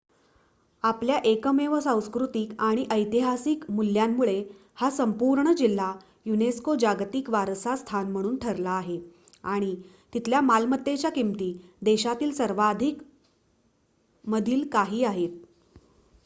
आपल्या एकमेव सांस्कृतिक आणि ऐतिहासिक मुल्यामुळे हा संपूर्ण जिल्हा युनेस्को जागतिक वारसा स्थान म्हणून ठरला आहे आणि तिथल्या मालमत्तेच्या किमती देशातील सर्वाधिक मधील काही आहेत